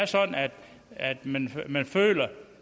sådan at at man føler